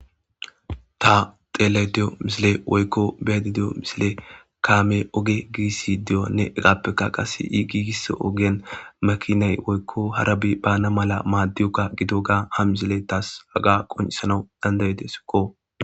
Ta xeelay deyo misile woykko beedi deyo misile kaame oge giisi diyonne egappekka qasse i giigiss ogen makinay woykko harabi baana mala maaddioka gido ga ha misile taas haga qoncisanawu dandaydesikko.